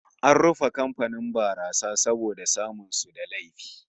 An rufe kamfanin barasa saboda samun su da laifi